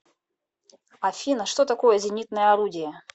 афина что такое зенитное орудие